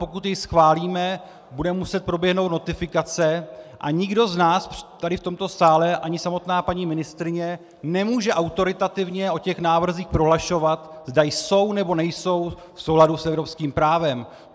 Pokud jej schválíme, bude muset proběhnout notifikace a nikdo z nás tady v tomto sále, ani samotná paní ministryně, nemůže autoritativně o těch návrzích prohlašovat, zda jsou, nebo nejsou v souladu s evropským právem.